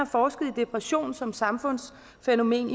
forsket i depression som samfundsfænomen